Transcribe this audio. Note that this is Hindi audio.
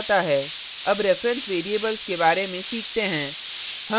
अब reference variables के बारे में सीखते हैं